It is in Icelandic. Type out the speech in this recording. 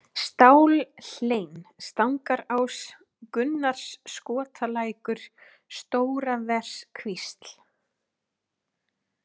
Stálhlein, Stangarás, Gunnarsskotalækur, Stóraverskvísl